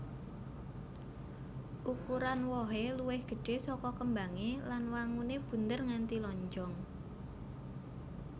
Ukuran wohé luwih gedhé saka kembangé lan wanguné bunder nganti lonjong